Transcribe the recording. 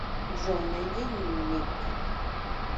джой найди ник